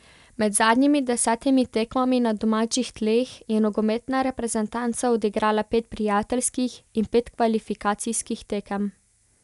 Med zadnjimi desetimi tekmami na domačih tleh je nogometna reprezentanca odigrala pet prijateljskih in pet kvalifikacijskih tekem.